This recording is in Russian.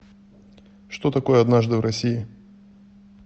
что такое однажды в россии